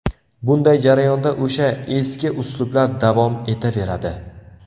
Bunday jarayonda o‘sha ‘eski’ uslublar davom etaveradi.